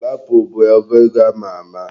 Lapo bụ ọba ego ama ama.